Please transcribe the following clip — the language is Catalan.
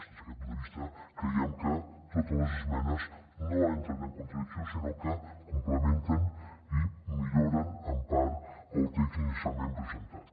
des d’aquest punt de vista creiem que totes les esmenes no entren en contradicció sinó que complementen i milloren en part el text inicialment presentat